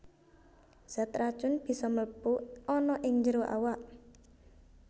Zat racun bisa mlebu ana ing njero awak